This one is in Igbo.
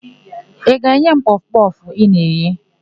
Ị ga-enye m kpọfụ kpọfụ ị na-eghe?